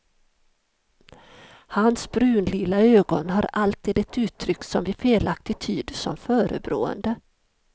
Hans brunlila ögon har alltid ett uttryck som vi felaktigt tyder som förebrående.